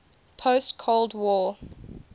post cold war